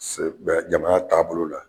Bɛ jama taabolo la